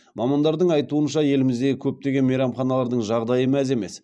мамандардың айтуынша еліміздегі көптеген мейрамханалардың жағдайы мәз емес